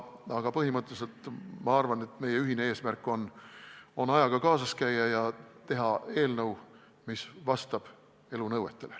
Aga põhimõtteliselt ma arvan, et meie ühine eesmärk on ajaga kaasas käia ja teha eelnõu, mis vastaks elu nõuetele.